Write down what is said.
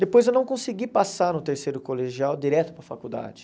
Depois eu não consegui passar no terceiro colegial direto para a faculdade.